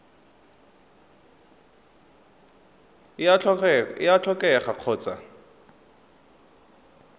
e a tlhokega go tswa